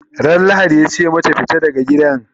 Ran lahadi yace mata"fita daga gidan!"